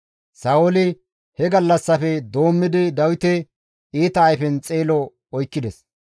Sa7ooli he gallassafe doommidi Dawite iita ayfen xeelo oykkides.